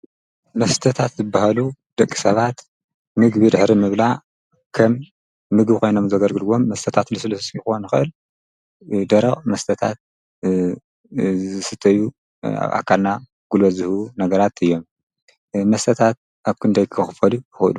መስተታት ዘበሃሉ ደቂ ሰባት ምግቢድ ኅሪ ምእብላ ከም ምጊ ኾይኖም ዘገርግድዎም መተታት ልሠለሢይኹን ኸእል ደረቕ መስተታት ዝስተዩ ኣካልና ጕሎ ዝሁ ነገራት እዮም መሰታት ኣኲንዶ ኣይክኽፈሉ ሁሉ